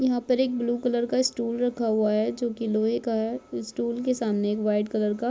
यहाँ पर एक ब्लू कलर का स्टूल रखा हुआ है जो की लोहे का है उस स्टूल के सामने एक व्हाइट कलर का--